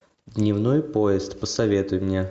дневной поезд посоветуй мне